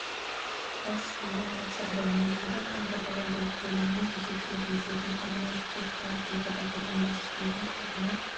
бас сүйегін тапсырды музейдің антропологиялық бөліміне жетекшілік ететін агнеш куштар кейкі батырдың бас сүйегін қалпына